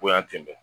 Bonya ten bɛn